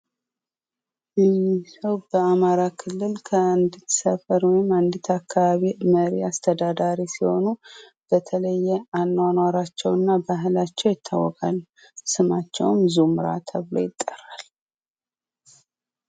ይህ ሰው በአማራ ክልል ከአንዲት ሰፈር ወይም አንዲት አካባቢ መሪ ወይም አስተዳዳሪ ሲሆኑ በተለየ አኗኗራቸውና ባህላቸው ይታወቃሉ። ስማቸውም ዙምራ ተብሎ ይጠራል።